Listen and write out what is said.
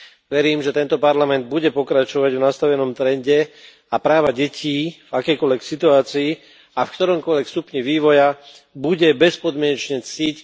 Verím, že tento parlament bude pokračovať v nastavenom trende a práva detí v akejkoľvek situácii a v ktoromkoľvek stupni vývoja bude bezpodmienečne ctiť.